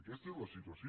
aquesta és la situació